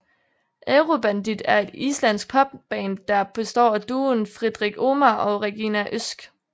Eurobandið er et islandsk pop band der består af duoen Friðrik Ómar og Regína Ósk